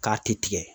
K'a ti tigɛ